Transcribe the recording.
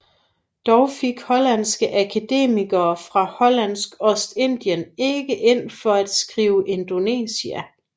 Dog gik hollandske akademikere fra Hollandsk Ostindien ikke ind for at skrive Indonesia